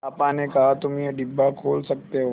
पापा ने कहा तुम ये डिब्बा खोल सकते हो